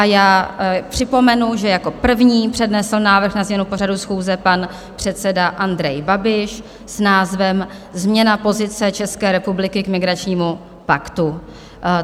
A já připomenu, že jako první přednesl návrh na změnu pořadu schůze pan předseda Andrej Babiš s názvem Změna pozice České republiky k migračnímu paktu.